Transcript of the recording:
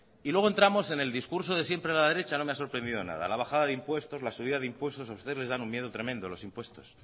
y luego entramos en el discurso de siempre de la derecha no me ha sorprendido nada la bajada de impuestos la subida de impuestos a ustedes les dan un miedo tremendo los impuestos